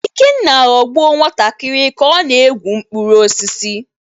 Ikenna ghọgbuo nwantakịrị ka ọ na-egwu mkpụrụ osisi